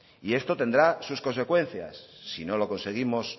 y esto tendrá sus consecuencias si no lo conseguimos